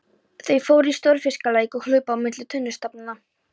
Þau fóru í stórfiskaleik og hlupu á milli tunnustaflanna.